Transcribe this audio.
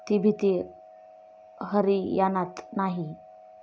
ती भीती हरियाणात नाही.